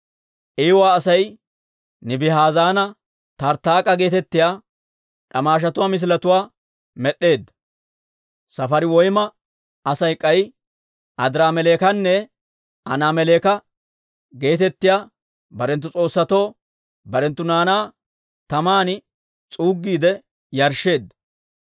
Iiwa Asay Nibihaazanne Tarttaak'a geetettiyaa d'amaashatuwaa misiletuwaa med'd'eedda. Safariwayma Asay k'ay Adiraameleekanne Anaameleka geetettiyaa barenttu s'oossatoo barenttu naanaa taman s'uuggiide yarshsheedda.